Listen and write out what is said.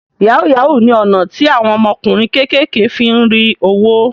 Yahoo yahoo ni ọ̀nà tí àwọn ọmọkùnrin kékèké fí ń rí owó